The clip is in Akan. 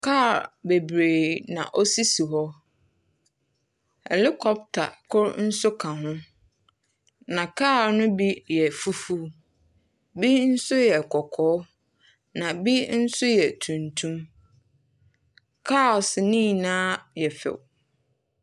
Kaa bebree na osisi hɔ. Helocopter kor nso ka ho, na kaa no bi yɛ fufuw, ebi nso yɛ kɔkɔɔ, na ebi nso yɛ tuntum. Kaase no nyinaa yɛ fɛw.